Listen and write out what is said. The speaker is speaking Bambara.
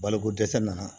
Balokodɛsɛ nana